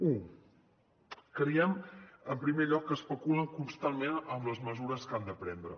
u creiem en primer lloc que especulen constantment amb les mesures que han de prendre